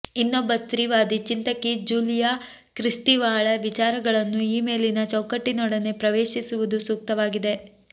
ಇನ್ನೊಬ್ಬ ಸ್ತ್ರೀವಾದಿ ಚಿಂತಕಿ ಜ್ಯೂಲಿಯಾ ಕ್ರಿಸ್ತೀವಾಳ ವಿಚಾರಗಳನ್ನು ಈ ಮೇಲಿನ ಚೌಕಟ್ಟಿನೊಡನೆ ಪ್ರವೇಶಿಸುವುದು ಸೂಕ್ತವಾಗಿದೆ